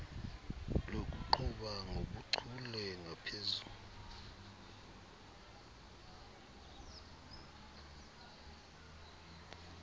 lokuqhuba ngobuchule ngaphezu